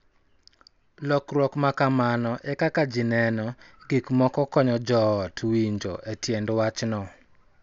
Lokruok ma kamano e kaka ji neno gik moko konyo jo ot winjo tiend wachno